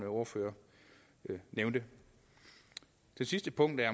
ordfører nævnte det sidste punkt er